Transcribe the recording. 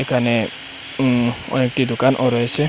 এখানে উম অনেকটি দোকানও রয়েছে।